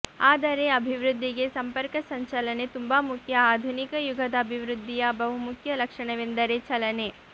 ಆದರೆ ಅಭಿವೃದ್ದಿಗೆ ಸಂಪರ್ಕ ಸಂಚಲನೆ ತುಂಬಾ ಮುಖ್ಯ ಆಧುನಿಕ ಯುಗದ ಅಭಿವೃದ್ಧಿಯ ಬಹು ಮುಖ್ಯ ಲಕ್ಷಣವೆಂದರೆ ಚಲನೆ